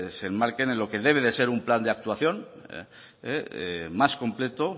se enmarquen en lo que debe ser un plan de actuación más completo